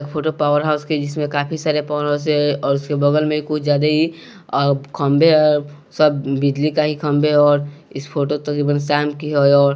photo power house के जिसमें काफी सारे फोन से और उसके बगल में कुछ ज्यादा ही खंभे अ सब बिजली का ही खंभे और इस फोटो तो साम की--